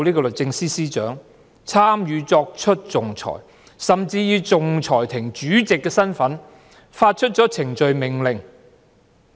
律政司司長有份參與作出仲裁，甚至以仲裁庭主席的身份發出程序命令。